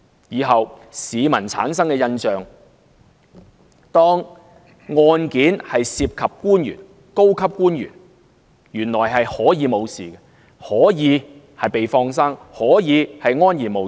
以後市民的印象，便是當案件涉及官員和高級官員時，涉事者是可以脫身，可以被"放生"，可以安然無恙。